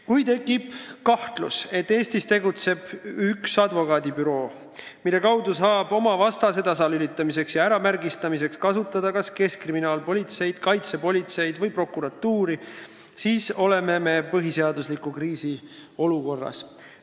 Kui tekib kahtlus, et Eestis tegutseb advokaadibüroo, mille abil saab oma vastase tasalülitamiseks ja märgistamiseks kasutada kas keskkriminaalpolitseid, kaitsepolitseid või prokuratuuri, siis oleme me põhiseaduslikkuse kriisi olukorras.